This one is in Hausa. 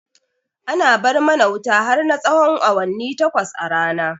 Ana bar mana wuta har na tsahon awanni takwas a rana